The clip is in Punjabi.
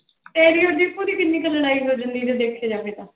ਤੇਰੇ ਔਰ ਦੀਪੂ ਦੀ ਕਿੰਨੀ ਕੁ ਲੜਾਈ ਹੋ ਜਾਂਦੀ ਹੈ ਜੇ ਦੇਖਿਆ ਜਾਵੇ ਤਾਂ।